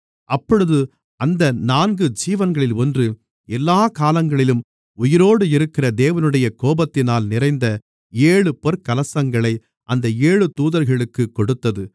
அப்பொழுது அந்த நான்கு ஜீவன்களில் ஒன்று எல்லாக் காலங்களிலும் உயிரோடு இருக்கிற தேவனுடைய கோபாத்தினால் நிறைந்த ஏழு பொற்கலசங்களை அந்த ஏழு தூதர்களுக்குக் கொடுத்தது